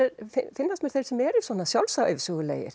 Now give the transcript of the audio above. finnast mér þeir sem eru svona